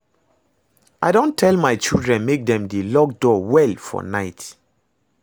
I don tell my children make dem dey lock door well for night